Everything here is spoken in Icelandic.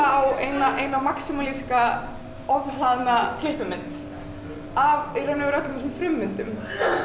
á eina eina maximalíska ofhlaðna klippimynd af í raun og veru öllum þessum frummyndum